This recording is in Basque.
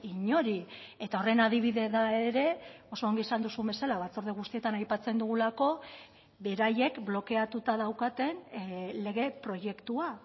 inori eta horren adibide da ere oso ongi esan duzun bezala batzorde guztietan aipatzen dugulako beraiek blokeatuta daukaten lege proiektua